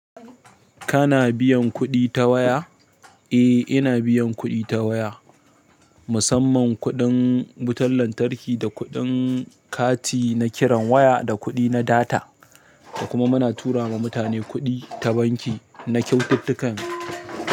Kana biyan kuɗi ta waya? Eh, ina biyan kuɗi ta waya. Musamman kuɗin wutar lantarki da kuɗin kati na kiran waya da kuɗi na data. Da kuma muna tura ma mutane kuɗi ta banki na kyaututtukan.